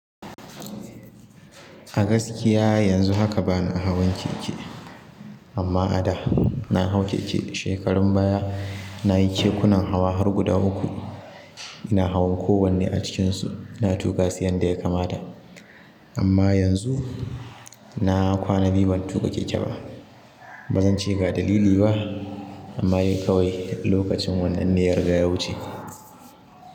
A gaskiya yanzu haka bana hawan keke, amma a da na hau keke. Shekarun baya na yi kekunan hawa har guda uku. Ina hawan kowanne a cikinsu. Na tuƙa su yanda ya kamata. Amma yanzu na kwana biyu ban tuƙa keke ba. Ba zan ce ga dalili ba, amma yi kawai lokacin wannan dai ya riga yawu ce.